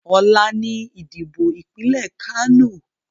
Ọ̀la ni ìdìbò ìpínlẹ̀ Kánò